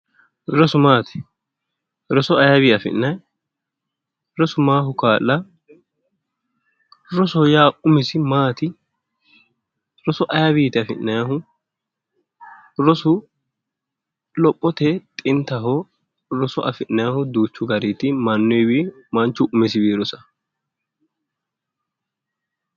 Rosu maati roso ayiiwi afi'nayii? rosu maaho kaa'laa rosoho yaa umisi maati? roso ayiiwiti afi'nayiihu? rosu lophote xintaho. Roso afi'nayiihu duuchu garinniiti mannyiiwii manchu umisiwii rosaa